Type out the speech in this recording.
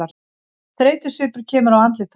Þreytusvipur kemur á andlit hans.